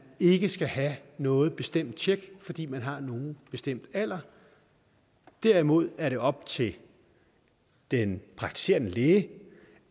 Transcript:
ikke skal have noget bestemt tjek fordi man har en bestemt alder derimod er det op til den praktiserende læge